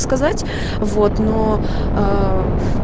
сказать вот но аа